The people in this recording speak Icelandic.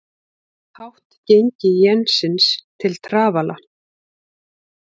Hátt gengi jensins til trafala